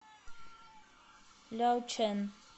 ляочэн